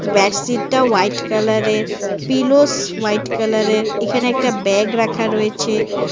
ব্যাডসিটটা white কালারের pillows white কালারের এখানে একটা ব্যাগ রাখা রয়েছে।